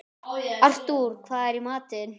Artúr, hvað er í matinn?